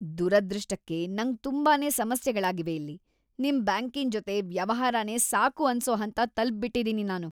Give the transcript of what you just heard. ದುರದೃಷ್ಟಕ್ಕೆ ನಂಗ್ ತುಂಬಾನೇ ಸಮಸ್ಯೆಗಳಾಗಿವೆ ಇಲ್ಲಿ, ನಿಮ್ ಬ್ಯಾಂಕಿನ್‌ ಜೊತೆ ವ್ಯವಹಾರನೇ ಸಾಕು ಅನ್ಸೋ ಹಂತ ತಲ್ಪ್‌ಬಿಟ್ಟಿದೀನಿ ನಾನು.